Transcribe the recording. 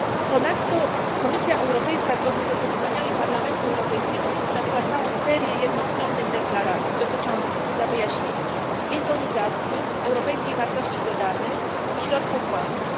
Ponadto Komisja Europejska zgodnie z oczekiwaniami Parlamentu Europejskiego przedstawiła całą serię jednostronnych deklaracji dotyczących dla wyjaśnienia lizbonizacji, europejskiej wartości dodanej i środków własnych.